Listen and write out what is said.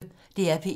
DR P1